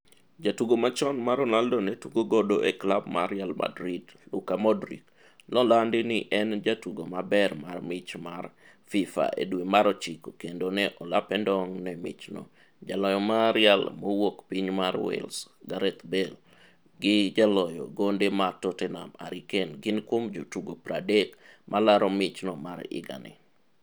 Jatugo machon ma Ronaldo ne tugo godo e klab mar Real Madrid ,Luka Modric, nolandi ni en jatugo mabermar mich mar Fifa e dwe mar ochiko kendo ne olape ndong' ne michno jaloyo mar Real mowuok piny mar Wales Gareth Bale gi jaloyo gonde ma Tottenham Harry Kane gin kuom jotugo 30 malaro mich mar higa ni.